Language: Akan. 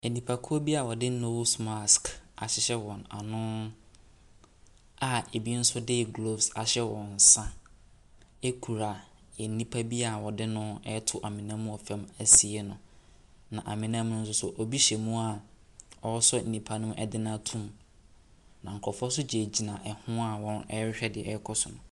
Nnipakuo bi a wɔde nose mask ahyehyɛ wɔn ano a ɛbi nso de gloves ahyehyɛ wɔn nsa kura nipa bi a wɔde no ɛreto amona mu wɔ famu asie no. Na amona ne mu no nso, ɛbi gyina mu a ɔresɔ nipa ne mu de no ato mu. Na nkurɔfo nso gyinagyina ho a wɔrehwɛ deɛ ɛrekɔ so no.